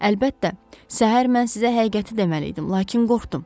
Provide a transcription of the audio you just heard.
Əlbəttə, səhər mən sizə həqiqəti deməli idim, lakin qorxdum.